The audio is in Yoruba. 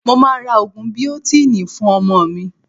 Mo máa ra Ògùn biotínì fún ọmọ mi.